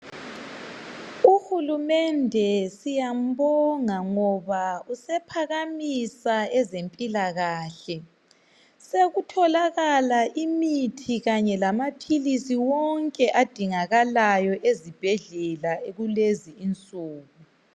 Uhulumende siyambonga ngoba usephakamisa ezempilakahle sekutholakala imithi kanye lamaphilisi wonke adingakalayo ezibhendlela kulezi insuku